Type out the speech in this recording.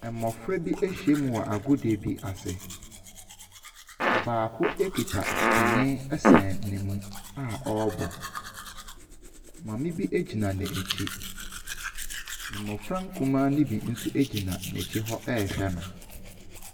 Mmɔfra bi ahyia mu wɔ agodie bi ase. Ɔbaako kita twene sɛn ne ho a ɔrebɔ. Maame bi gyina n'akyi. Mmɔfra nkumaa no bi nso gyina n'akyi hɔ rehwɛ so.